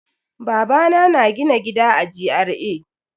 Babana na gina gida a GRA.